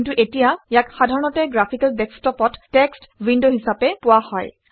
কিন্তু এতিয়া ইয়াক সাধাৰণতে গ্ৰাফিকেল ডেস্কটপত টেক্সট উইণ্ড হিচাপে পোৱা হয়